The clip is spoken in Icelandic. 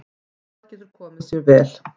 Það getur komið sér vel.